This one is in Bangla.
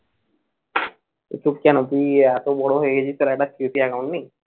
কেন তুই এত বড় হয়ে গেছিস তোর একটা COC account নেই?